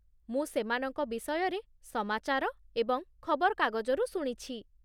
ମୁଁ ସେମାନଙ୍କ ବିଷୟରେ ସମାଚାର ଏବଂ ଖବରକାଗଜରୁ ଶୁଣିଛି